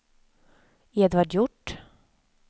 Edvard Hjort